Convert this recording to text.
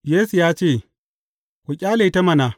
Yesu ya ce, Ku ƙyale ta mana.